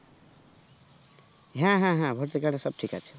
হ্যাঁ হ্যাঁ হ্যাঁ voter card এ সব ঠিক আছে